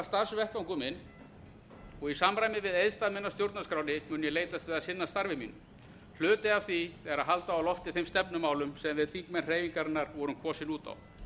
starfsvettvangur minn og í samræmi við eiðstaf minn að stjórnarskránni mun ég leitast við að sinna starfi mínu hluti af því er að halda á lofti þeim stefnumálum sem við þingmenn hreyfingarinnar vorum kosin út á